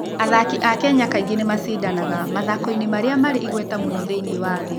Athaki a Kenya kaingĩ nĩ macindanagia mathako-inĩ marĩa marĩ igweta mũno thĩinĩ wa thĩ.